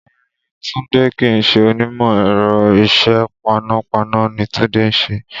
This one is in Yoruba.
Rárá, Tunde kì í ṣe onímọ̀ ẹ̀rọ. Isẹ paná paná ni Tunde ń ṣe